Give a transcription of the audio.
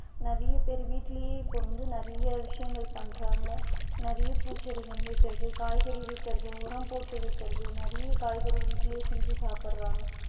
நிறைய பேர் வீட்லயே இப்ப வந்து நிறைய விஷயங்கள் பண்றாங்க நிறைய பூச்செடிகள் வைக்கிறது காய்கறி வைக்கிறது உரம் போட்டு வைக்கிறது நிறைய காய்கறி வீட்டுலயே செஞ்சு சாப்பிடுறாங்க